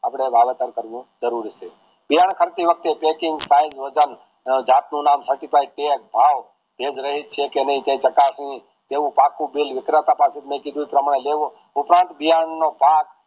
આપડે વાવેતર કરવું જરૂરી છે કરતી વખતે packing સીઝે વજન જાત નુ નામ certified tag ભાવ એજ છે કે નહિ તે ચકાસણી તેઉ પાકું bill પ્રમાણે લેવો ઉપરાંત ભાગ